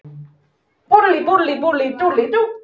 Þar kynntist ég stúlku sem orti, og hún opnaði þessa æð.